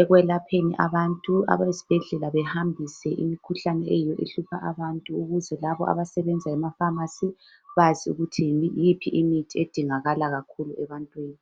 ekwelapheni abantu. Abezibhedlela bahambise imikhuhlane eyiyo ehlupha abantu ukuze labo abasebenza emapharmacy bazi ukuthi yiyiphi imithi edingakala kakhulu ebantwini.